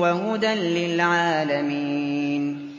وَهُدًى لِّلْعَالَمِينَ